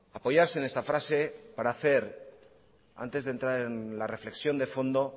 apoyarse en esta frase para hacer antes de entrar en la reflexión de fondo